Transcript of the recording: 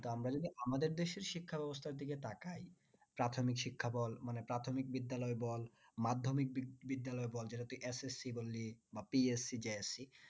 আমরা যদি আমাদের দেশের শিক্ষা ব্যাবস্থার দিকে তাকাই প্রাথমিক শিক্ষা বল মানে প্রাথমিক বিদ্যালয় বল মাধ্যমিক বিদ্যালয় বল যেটা তুই SSC বা PSC